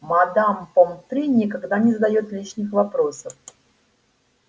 мадам помфри никогда не задаёт лишних вопросов